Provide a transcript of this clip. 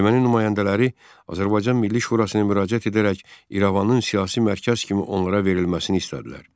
Erməni nümayəndələri Azərbaycan Milli Şurasına müraciət edərək İrəvanın siyasi mərkəz kimi onlara verilməsini istədilər.